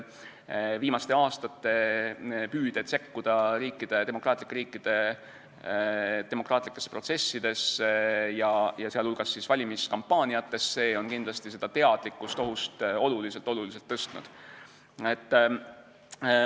Viimaste aastate püüded sekkuda demokraatlike riikide demokraatlikesse protsessidesse, sh valimiskampaaniatesse, on kindlasti teadlikkust ohust oluliselt-oluliselt tõstnud.